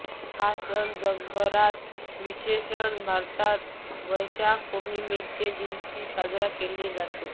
हा सण जगभरात विशेषत भारतात वैशाख पोर्णिमेच्या दिवशी साजरा केला जातो